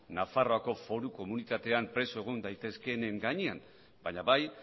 nafarroako foru komunitatean preso egon daitezkeenen gainean baina bai